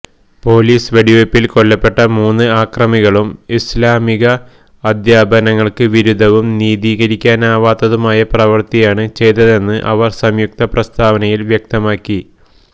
police വെടിവെപ്പില് കൊല്ലപ്പെട്ട മൂന്ന് അക്രമികളും ഇസ്്ലാമിക അധ്യാപനങ്ങള്ക്ക് വിരുദ്ധവും നിതീകരിക്കാനാവാത്തതുമായ പ്രവൃത്തിയാണ് ചെയ്തതെന്ന് അവര് സംയുക്ത പ്രസ്താവനയില് വ്യക്തമാക്കി